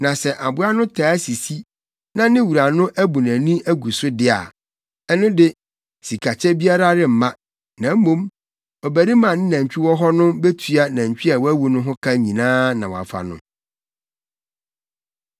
Na sɛ aboa no taa sisi na ne wura no abu nʼani agu so de a, ɛno de, sikakyɛ biara remma; na mmom, ɔbarima a ne nantwi wɔ hɔ no betua nantwi a wawu no ho ka nyinaa na wafa no.